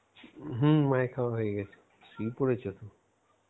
হম মায়ের খাওয়া হয়ে গেছে শুয়ে পড়েছে তো.